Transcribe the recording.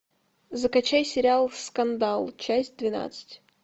закачай сериал скандал часть двенадцать